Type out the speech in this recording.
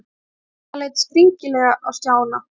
Dadda leit skringilega á Stjána.